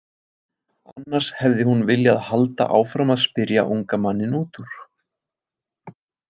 Annars hefði hún viljað halda áfram að spyrja unga manninn út úr.